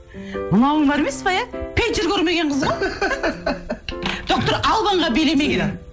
мынауың бар емес пе иә пейджер көрмеген қыз ғой доктор албанға билемеген иә